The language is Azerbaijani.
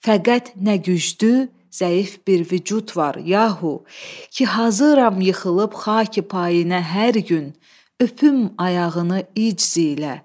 Fəqət nə güclü, zəif bir vücud var, yahu, ki hazıram yıxılıb xaki payinə hər gün, öpüm ayağını icz ilə.